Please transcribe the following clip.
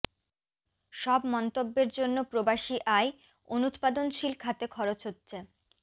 সব মন্তব্যের জন্য প্রবাসী আয় অনুৎপাদনশীল খাতে খরচ হচ্ছে